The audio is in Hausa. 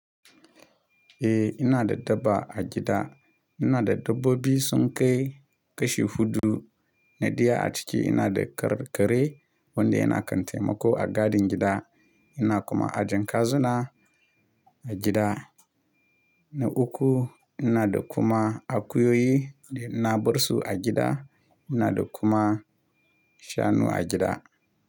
Eh, ina da dabba a gida. Ina da dabbobi sun kai, kashi huɗu. Na ɗaya a ciki ina da kare, wanda yana kan taimako a gadin gida. Ina kuma a jiyen kazuna a gida, na uku. Ina da kuma akuyoyi, da ina barsu a gida. Ina da kuma shanu a gida.